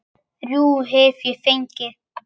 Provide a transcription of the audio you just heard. Þrjú hef ég fengið.